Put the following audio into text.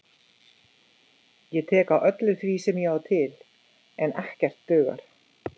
Ég tek á öllu því sem ég á til, en ekkert dugar.